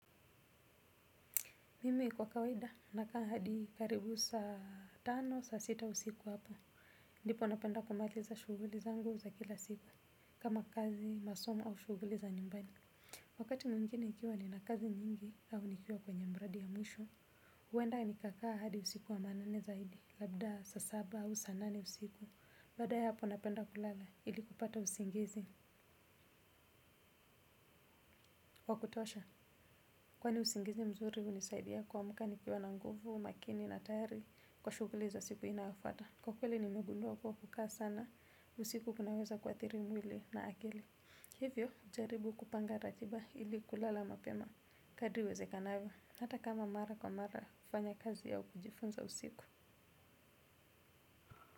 Mimi kwa kawaida, nakaa hadi karibu saa tano, saa sita usiku hapo. Ndipo napenda kumaliza shuguli zangu za kila siku, kama kazi, masomo au shuguli za nyumbani. Wakati mwingine ikiwa nina kazi nyingi, au nikiwa kwenye mradi ya mwisho, uwenda nikakaa hadi usiku wa manane zaidi, labda saa saba au saa nane usiku. Baadae hapo napenda kulala, ili kupata usingizi. Wa kutosha, kwani usingizi mzuri unisaidia kuamka nikiwa na nguvu, makini na tayari, kwa shuguli za siku inayofuata kwa kweli nimegundua kuwa kukaa sana usiku kunaweza kuathiri mwili na akili. Hivyo, ujaribu kupanga ratiba. Ili kulala mapema kadri iwezekanavyo hata kama mara kwa mara kufanya kazi au kujifunza usiku.